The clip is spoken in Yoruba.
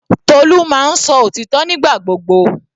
Tolu máa ń sọ òtítọ́ nígbà gbogbo.